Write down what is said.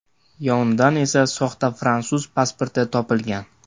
Yonidan esa soxta fransuz pasporti topilgan.